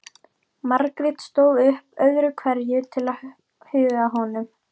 Margrét stóð upp öðru hverju til að huga að honum.